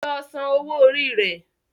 Lọ sàn owó Orí re!